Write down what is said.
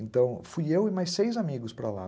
Então, fui eu e mais seis amigos para lá.